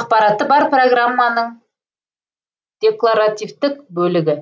ақпараты бар программаның декларативтік бөлігі